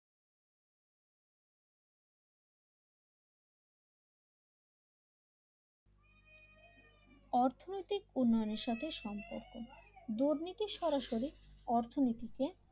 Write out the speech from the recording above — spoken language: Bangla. অর্থনৈতিক উন্নয়নের সাথে সম্পর্ক দুর্নীতি সরাসরি অর্থনীতিকে